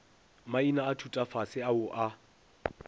maina a thutafase ao a